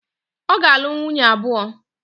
Ọ ga-alụ nwunye abụọ.